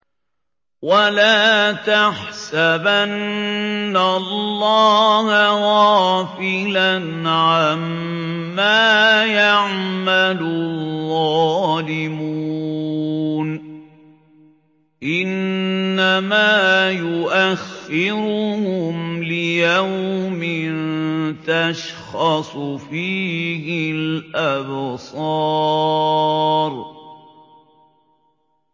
وَلَا تَحْسَبَنَّ اللَّهَ غَافِلًا عَمَّا يَعْمَلُ الظَّالِمُونَ ۚ إِنَّمَا يُؤَخِّرُهُمْ لِيَوْمٍ تَشْخَصُ فِيهِ الْأَبْصَارُ